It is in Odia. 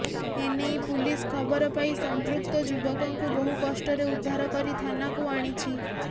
ଏନେଇ ପୁଲିସ ଖବର ପାଇ ସଂପୃକ୍ତ ଯୁବକଙ୍କୁ ବହୁ କଷ୍ଟରେ ଉଦ୍ଧାର କରି ଥାନାକୁ ଆଣିଛି